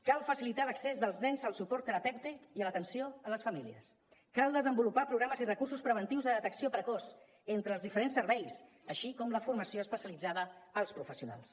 cal facilitar l’accés dels nens al suport terapèutic i a l’atenció a les famílies cal desenvolupar programes i recursos preventius de detecció precoç entre els diferents serveis així com la formació especialitzada als professionals